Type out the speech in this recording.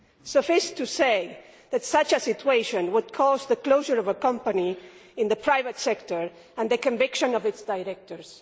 Suffice to say that such a situation would cause the closure of a company in the private sector and the conviction of its directors.